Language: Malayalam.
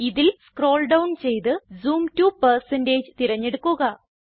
ഇതിൽ സ്ക്രോൾ ഡൌൺ ചെയ്ത് ജൂം to തിരഞ്ഞെടുക്കുക